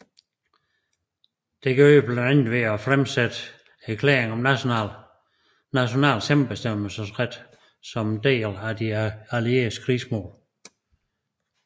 Det gjorde de blandt andet ved at fremsætte erklæringer om national selvbestemmelsesret som en del af de allieredes krigsmål